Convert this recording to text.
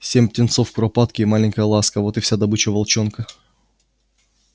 семь птенцов куропатки и маленькая ласка вот и вся добыча волчонка